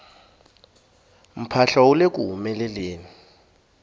mphahlo wu leku humeleleni